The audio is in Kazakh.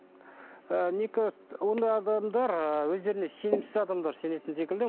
ы мне кажется ондай адамдар ы өздеріне сенімсіз адамдар сенетін секілді